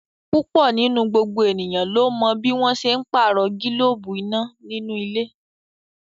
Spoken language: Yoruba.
Púpọ̀ nínú gbogbo ènìyàn ló mọ bí wọ́n n ṣe pàrọ̀ gílóbù iná nínú ilé